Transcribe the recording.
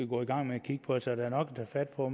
gå i gang med at kigge på så der er nok at tage fat på